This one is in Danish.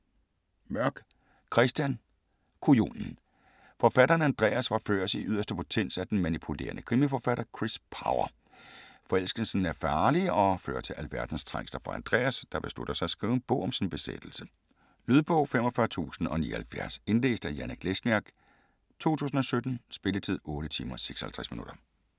Mørk, Christian: Kujonen Forfatteren Andreas forføres i yderste potens af den manipulerende krimiforfatter, Kris Power. Forelskelsen er farlig og fører til alverdens trængsler for Andreas, der beslutter at skrive en bog om sin besættelse. Lydbog 45079 Indlæst af Janek Lesniak, 2017. Spilletid: 8 timer, 56 minutter.